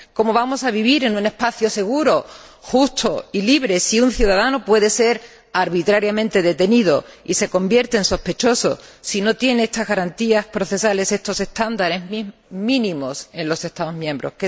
¿Cómo vamos a vivir en un espacio seguro, justo y libre si un ciudadano puede ser arbitrariamente detenido y se convierte en sospechoso, si no tiene estas garantías procesales, estos estándares mínimos en los Estados miembros?